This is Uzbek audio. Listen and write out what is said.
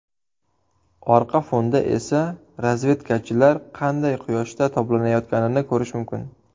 Orqa fonda esa razvedkachilar qanday quyoshda toblanayotganini ko‘rish mumkin.